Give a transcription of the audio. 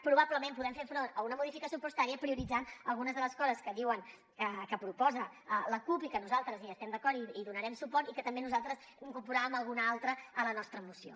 probablement podem fer front a una modificació pressupostària prioritzant algunes de les coses que diuen que proposa la cup i que nosaltres hi estem d’acord i hi donarem suport i que també nosaltres n’incorporàvem alguna altra a la nostra moció